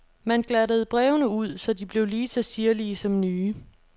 Man glattede brevene ud, så de blev lige så sirlige som nye.